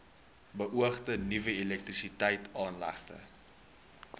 beoogde nuwe elektrisiteitsaanlegte